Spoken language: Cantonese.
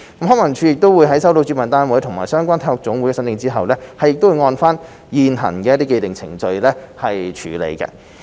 康文署在收到主辦單位及/或相關體育總會的申請後，會按照現行的程序處理。